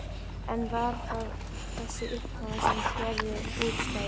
En var það þessi uppákoma sem gerði útslagið?